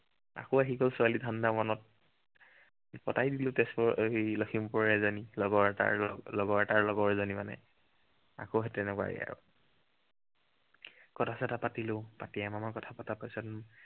আকৌ আহি গল ছোৱালী ধাণ্ডা মনত। পতাই দিলো তেজপুৰৰ আহ কি লক্ষিমপুৰৰ এজনী লগৰ এটাৰ। আহ লগৰ এটাৰ লগৰ এজনী মানে। আকৌ সেই তেনেকুৱাই আৰু কথা চথা পাতিলো, পাতি এমাহ মান কথা পতাৰ পাছত